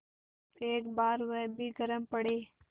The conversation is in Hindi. एक बार वह भी गरम पड़े